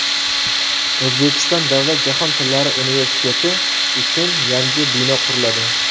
O‘zbekiston Davlat jahon tillari universiteti uchun yangi bino quriladi.